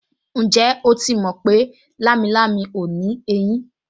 Ǹjẹ́ o ti mọ̀ pé lámilámi ò ní ẹyín